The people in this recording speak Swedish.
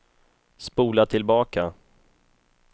spola tillbaka